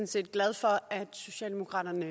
set glad for at socialdemokratiet